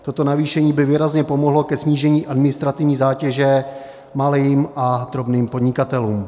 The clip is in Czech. Toto navýšení by výrazně pomohlo ke snížení administrativní zátěže malým a drobným podnikatelům.